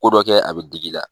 Ko dɔ kɛ a bi dig'i la